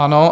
Ano.